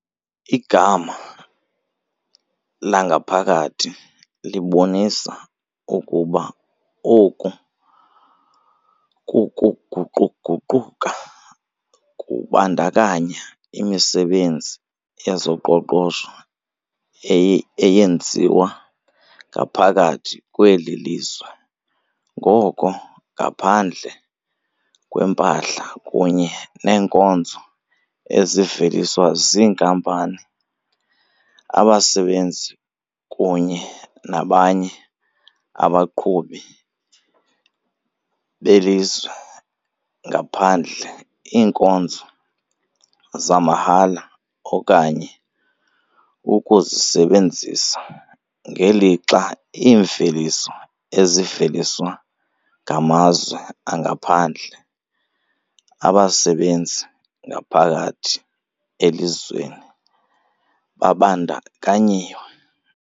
Igama "langaphakathi" libonisa ukuba oku kuguquguquka kubandakanya imisebenzi yezoqoqosho eyenziwa ngaphakathi kweli lizwe, ngoko ngaphandle kwempahla kunye neenkonzo eziveliswa ziinkampani, abasebenzi kunye nabanye abaqhubi belizwe ngaphandle, iinkonzo zamahhala okanye ukuzisebenzisa, ngelixa iimveliso eziveliswa ngamazwe angaphandle. abasebenzi ngaphakathi elizweni babandakanyiwe.